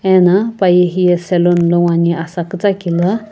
ano paye hiya salon ngo ame.